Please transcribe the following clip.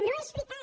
no és veritat